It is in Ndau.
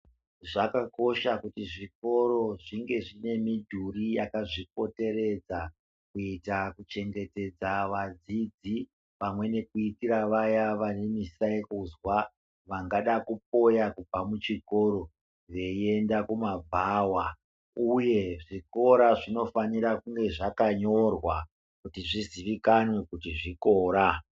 Zvakakosha kuti zvikoro zvinge zvine midhuri yakazvipoteredza kuita kuchengetedza vadzidzi. Pamwe nekuitira vayaa vane musayakuzwa vangada kupoya kubva muchikora veienda kumabhawa. Uye zvikora zvinofanira kunga zvakanyorwa kuti zviziikamwe kuti zvikora.